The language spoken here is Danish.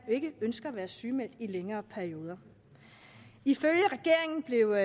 ikke ønsker at være sygemeldte i længere perioder ifølge regeringen blev